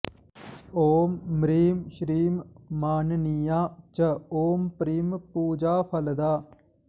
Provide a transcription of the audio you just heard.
ॐ म्रीं श्रीं माननीया च ॐ प्रीं पूजाफलदा